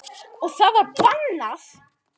Og það var bannað.